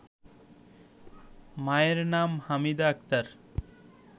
মায়ের নাম হামিদা আক্তার